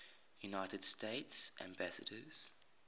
united states ambassadors